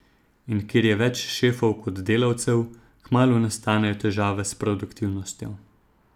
In kjer je več šefov kot delavcev, kmalu nastanejo težave s produktivnostjo.